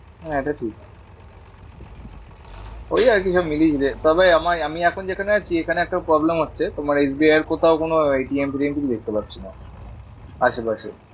হ্যাঁ এটা ঠিক। ওই আরকি সবই মিলিয়ে ঝুলিয়ে, তবে আমায় আমি এখন যেখানে আছি এখানে একটা problem হচ্ছে তোমার এস বি আই এর কোথাও কোনো ফেটিএম কিছু দেখতে পারছি না, আশেপাশে।